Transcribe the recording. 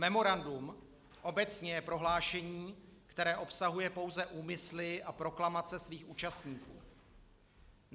Memorandum obecně je prohlášení, které obsahuje pouze úmysly a proklamace svých účastníků.